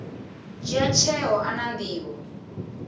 dzhia tsheo a na nḓivho